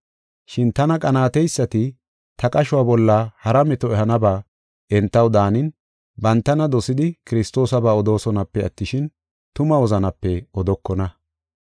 Shin tana qanaateysati ta qashuwa bolla hara meto ehanaba entaw daanin bantana dosidi Kiristoosaba odoosonape attishin, tuma wozanape odokona.